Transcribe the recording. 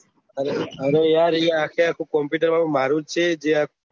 અરે યાર એ આખો આખો કોમ્પુટર વાળું મારું છે જે